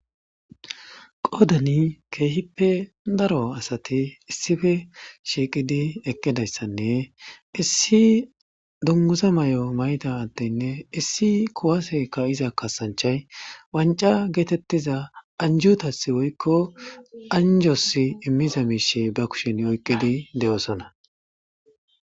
qodani keehippe daro asati issife shiiqidi eqqidayssanne issi dungusa may7o mayta attinne issi kuwaseka iza kasanchay wanca geetettiza anjutas woykko anjos immiza miishe ba kushen oyqqidi de7oosona